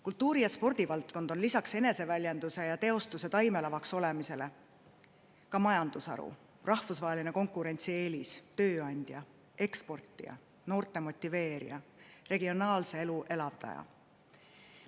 Kultuuri‑ ja spordivaldkond on lisaks eneseväljenduse ja ‑teostuse taimelavaks olemisele ka majandusharu, rahvusvaheline konkurentsieelis, tööandja, eksportija, noorte motiveerija, regionaalse elu elavdaja.